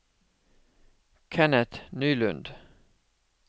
Kenneth Nylund